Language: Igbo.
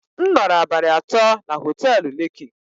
M nọrọ abalị atọ na họtelu lekki